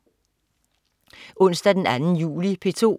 Onsdag den 2. juli - P2: